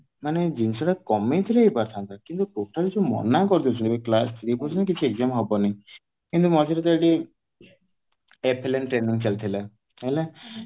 ମାନେ ଜିନିଷ ଟା କମେଇ ଥିଲେ ହେଇ ପାରିଥାନ୍ତା କିନ୍ତୁ total ଯୋଉ ମନା କରିଦଉଛନ୍ତି ଜେଆର class three ପର୍ଯ୍ୟନ୍ତ କିଛି exam ହବନି କିନ୍ତୁ ମଝିରେ ତ ଏଇଠି ଚାଲିଥିଲା